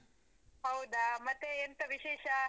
ಹೌದಾ! ಮತ್ತೆ ಎಂತ ವಿಶೇಷಾ?